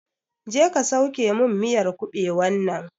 Je ka sauke min miyar kabewan nan!